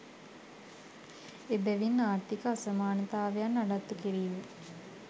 එබැවින් ආර්ථීක අසමානතාවයන් නඩත්තු කිරීම